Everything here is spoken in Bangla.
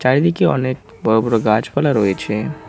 চারিদিকে অনেক বড় বড় গাছপালা রয়েছে।